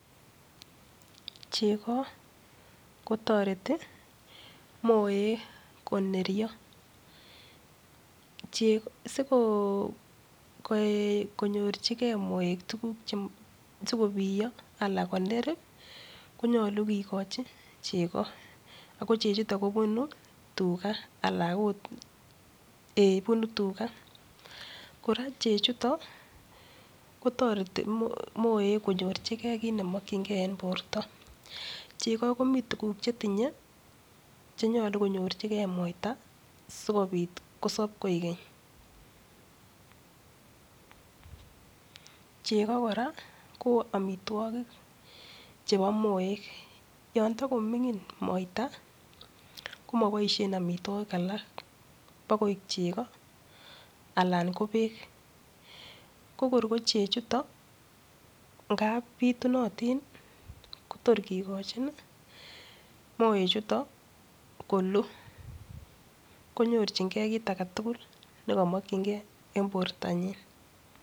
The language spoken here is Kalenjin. Cheko kotoreti moek koneryo. Sikonyorchikei moek tukuk cheko sikobiyo anan sikoner konyolukikochin cheko. Ako chechutok kobunu tuga, ala agot ee bunu tuga. Chechutok kotoreti moek konyorchikei kit nemakchingei eng porta. Cheko komi tukuk chetinyei che yalu konyorchikei moita, sikobit kosob koek keny. cheko kora ko amitwagik chebo moek, yo takominig moita, ko maboishe amitwagik alak bo koek cheko alan ko beek.ko kor ko chee chutok, ngap pitunotin kotor kekochin, moechuton, konyirchingei kit age tugul bekamakchingeieng porta nyin.